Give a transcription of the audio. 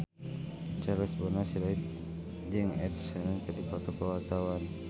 Charles Bonar Sirait jeung Ed Sheeran keur dipoto ku wartawan